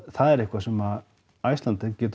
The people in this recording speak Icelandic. það er eitthvað sem Icelandair getur